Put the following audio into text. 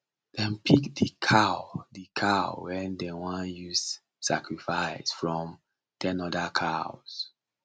dem pick the cow the cow wey dem wan use sacrifice from ten other cows